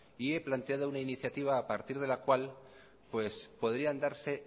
y he planteado una iniciativa a partir de la cual podrían darse